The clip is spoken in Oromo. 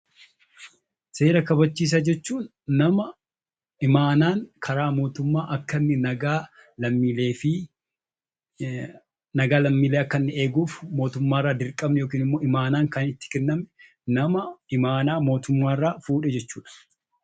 Seera kabachiisaa jechuun nama imaanaan karaa mootummaa akka inni nagaa lammiilee akka inni eeguuf mootummaa irraa dirqamni yookiin immoo imaanaan itti kenname, nama imaanaa mootummaa irraa fuudhe jechuu dha.